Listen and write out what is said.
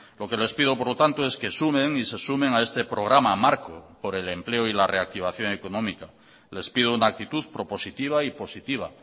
lo que les pido por lo tanto es que sumen y se sumen a este programa marco por el empleo y la reactivación económica les pido una actitud propositiva y positiva